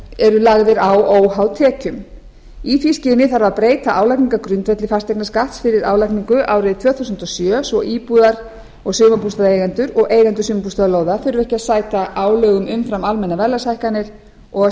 eru lagðir á óháð tekjum í því skyni þarf að breyta álagningargrundvelli fasteignaskatts fyrir álagningu árið tvö þúsund og sjö svo íbúðar og sumarbústaðaeigendur og eigendur sumarbústaðalóða þurfi ekki að sæta álögum umfram almennar verðlagshækkanir og